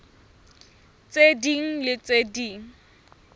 tse ding le tse ding